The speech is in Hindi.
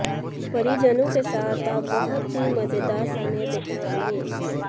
परिजनों के साथ आप बहुत ही मजेदार समय बिताएंगे